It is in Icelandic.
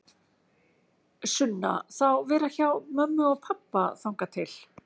Sunna: Þá vera hjá mömmu og pabba þangað til?